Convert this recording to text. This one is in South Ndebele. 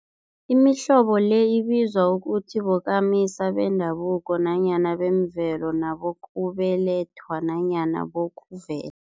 Imihlobo le ibizwa ukuthi bokamisa bendabuko nanyana bemvelo, nabokubelethwa nanyana bokuve